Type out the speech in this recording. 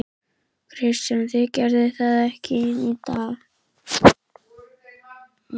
Kristján: Þið gerið það ekki í dag?